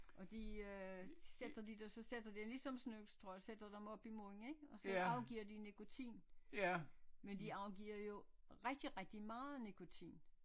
Og de øh sætter de der så sætter de ligesom snusstrå sætter dem op i munden ik og så afgiver de nikotin men de afgiver jo rigtig rigtig meget nikotin